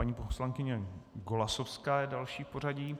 Paní poslankyně Golasowská je další v pořadí.